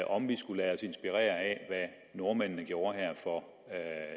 om vi skal lade os inspirere af hvad nordmændene gjorde for